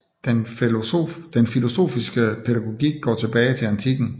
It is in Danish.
Den filosofiske pædagogik går tilbage til antikken